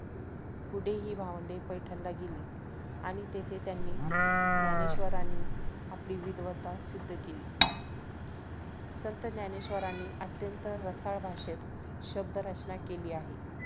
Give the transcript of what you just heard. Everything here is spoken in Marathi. पुढे हि भावंडे पैठणला गेली आणि तेथे त्यांनी ज्ञानेश्वरांनी आपली विद्वत्ता सिद्ध केली संत ज्ञानेश्वरांनी अत्यंत रसाळ भाषेत शब्दरचना केली आह